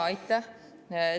Aitäh!